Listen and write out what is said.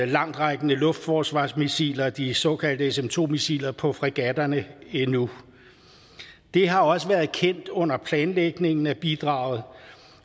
langtrækkende luftforsvarsmissiler de såkaldte sm2 missiler på fregatterne endnu det har også været kendt under planlægningen af bidraget